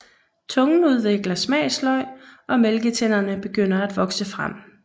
Tungen udvikler smagsløg og mælketænderne begynder at vokse frem